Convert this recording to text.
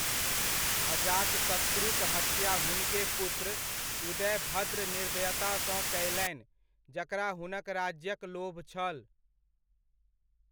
अजातशत्रुक हत्या हुनके पुत्र उदयभद्र निर्दयतासँ कयलनि जकरा हुनक राज्यक लोभ छल।